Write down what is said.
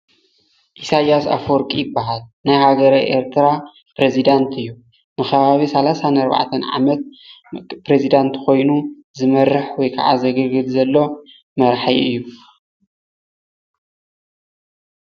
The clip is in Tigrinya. ኢሳያይ ኣፈወርቂ ይባሃል ፣ ናይ ሃገረ ኤርትራ ፕረዚዳንት እዩ፣ ንከባቢ 34 ዓመት ፕረዚዳንት ኮይኑ ዝመርሕ ወይ ከዓ ዘገልግል ዘሎ መራሑ እዩ፡፡